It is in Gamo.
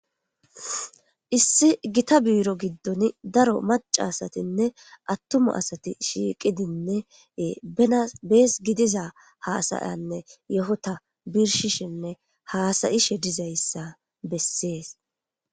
issi gita biiro giddon daro macaasatinne attuma asati shiiqidinne benabees gidiza haasayanne yohota birshishinne haasayishe dizayssa bessees